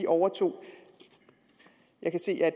overtog jeg kan se at